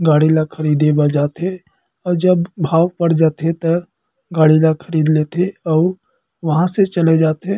गाड़ी ला खरीदे बा जाथे अउ जब भाव बढ़ जाथे त गाड़ी ला खरीद लेथे अउ वहाँ से चले जाथे।